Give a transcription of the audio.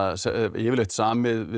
yfirleitt samið við